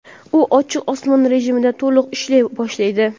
u "ochiq osmon" rejimida to‘liq ishlay boshlaydi.